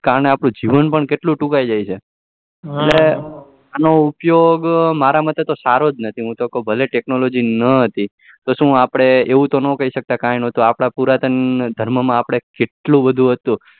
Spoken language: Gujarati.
અને આપણું જીવન પણ ટૂંકાઈ જાય છે અને તેનો ઉપયોગ મારા મતે તો સારો જ નથી હું તો કયું ભલે technology ન હતી તો શુ આપડે એવું તો ન કઈ શક્યતા કે પુરાતનધર્મ માં કેટલું બધું હતું